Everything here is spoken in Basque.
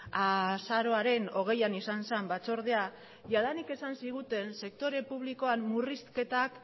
azaroaren hogeian izan zen batzordea jadanik esan ziguten sektore publikoan murrizketak